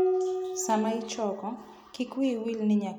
Sama ichoko, kik wiyi wil ni nyaka iket mor kich gi wach.